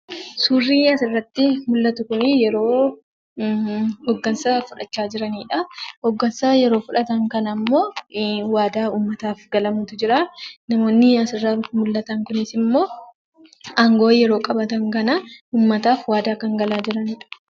Suurri asirratti mul'atu kunii yeroo hooggansa fudhachaa jiraniidha. Hooggansa yeroo fudhatan kanammoo waadaa uummataaf galamutu jiraa. Namoonni asirraa mullatan kunis immoo aangoo yeroo qabatan kanaa uumataaf waadaa kan galaa jiranidha.